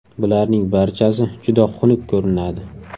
Bularning barchasi juda xunuk ko‘rinadi.